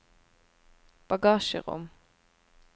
bagasjerom